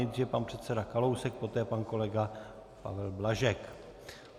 Nejdříve pan předseda Kalousek, poté pan kolega Pavel Blažek.